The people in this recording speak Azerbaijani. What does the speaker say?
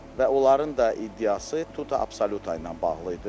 Və onların da iddiası tuta absoluta ilə bağlı idi.